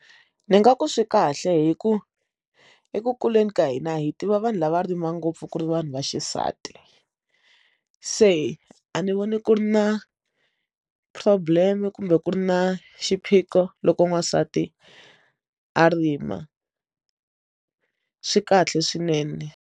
Ndzi nga ku swi kahle hi ku eku kuleni ka hina hi tiva vanhu lava rimika ngopfu ku ri vanhu va xisati se a ni voni ku ri na problem kumbe ku ri na xiphiqo loko n'wansati a rima swi kahle swinene.